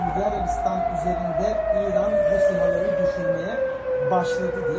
Sudi Arabistan üzərində İran raketlərini düşürməyə başladı deyə.